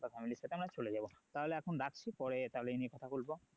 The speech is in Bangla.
বা family র সাথে আমরা চলে যাবো তাহলে এখন রাখছি পরে তাহলে এই নিয়ে কথা বলবো